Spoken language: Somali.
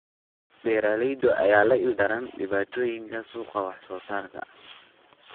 Beeralayda ayaa la ildaran dhibaatooyinka suuqa wax soo saarka.